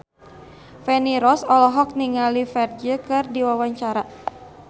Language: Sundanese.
Feni Rose olohok ningali Ferdge keur diwawancara